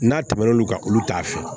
N'a tɛmɛn'olu kan olu t'a fɛ